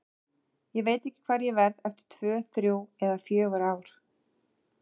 Ég veit ekki hvar ég verð eftir tvö, þrjú eða fjögur ár.